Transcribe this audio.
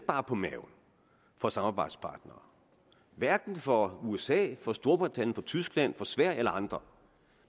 bare på maven for samarbejdspartnere hverken for usa for storbritannien for tyskland for sverige eller andre